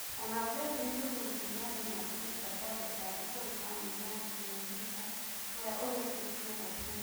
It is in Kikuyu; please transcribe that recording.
Ona president Uhuru Kenyatta niatũmite pole ciake kuri famiri ya Nkurunziza uria ũrikitie gũkua.